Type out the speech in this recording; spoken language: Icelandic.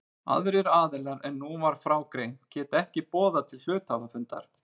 Aðrir aðilar en nú var frá greint geta ekki boðað til hluthafafundar.